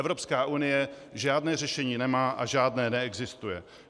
Evropská unie žádné řešení nemá a žádné neexistuje.